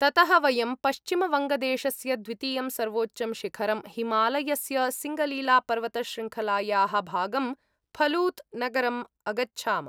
ततः वयं पश्चिमवङ्गदेशस्य द्वितीयं सर्वोच्चं शिखरं, हिमालयस्य सिङ्गलीलापर्वतशृङ्खलायाः भागं फलूत् नगरम् अगच्छाम।